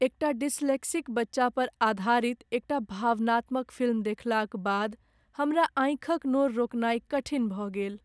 एकटा डिस्लेक्सिक बच्चा पर आधारित एकटा भावनात्मक फिल्म देखलाक बाद हमरा आँखि क नोर रोकनाई कठिन भ गेल।